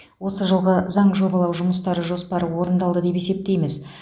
осы жылғы заң жобалау жұмыстары жоспары орындалды деп есептейміз